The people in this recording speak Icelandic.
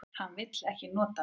Hann vill ekki nota mig.